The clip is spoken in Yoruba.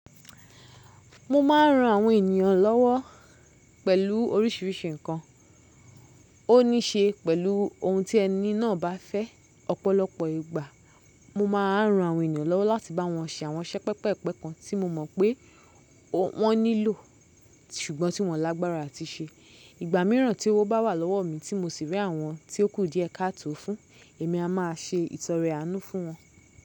Mo ma ń ran àwọn ènìyàn lọ́wọ́ pẹ̀lú oríṣiríṣi nǹkan. Ó ní í ṣe pẹ̀lú ohun tí ẹni náà bá fẹ́. Ọ̀pọ̀lọpọ̀ ìgbà, mo ma ń ran àwọn èeyan lowo láti bá wọn ṣe àwọn iṣẹ́ pẹpẹ́-pẹpẹ́ kan tí mo mọ̀ pé wọ́n nílò ṣùgbọ́n tí wọ́n lágbára á ti ṣe. Ìgbà mìíràn tí owo bá wà lọ́wo mi tí mo sì rí àwọn tí ó kù díẹ ká tó fún, èmi a máa ṣe ìtọrẹ aánú fún wọn.